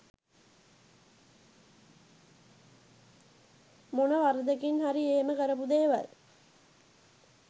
මොන වරදකින් හරි එහෙම කරපු දේවල්